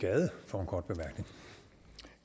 for